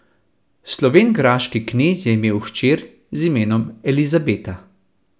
Slovengraški knez je imel hčer z imenom Elizabeta.